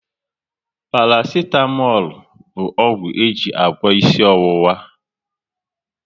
Parasitamol bụ ọgwụ e ji agwọ isi ọwụwa